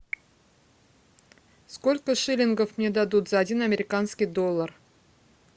сколько шиллингов мне дадут за один американский доллар